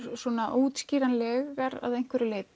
óútskýranlegar að einhverju leyti